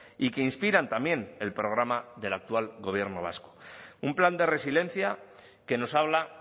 y que inspiran también el programa del actual gobierno vasco un plan de resiliencia que nos habla